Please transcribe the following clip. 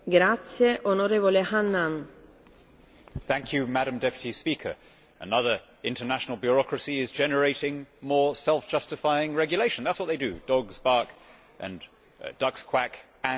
Madam President, another international bureaucracy is generating more self justifying regulation. That is what they do dogs bark, ducks quack and global technocracies justify their existence with new laws.